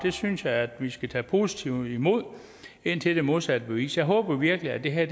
synes jeg vi skal tage positivt imod indtil det modsatte er bevist jeg håber virkelig at det her